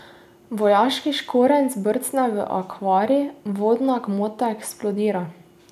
Vojaški škorenj brcne v akvarij, vodna gmota eksplodira.